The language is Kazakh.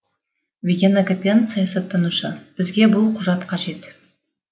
виген акопян саясаттанушы бізге бұл құжат қажет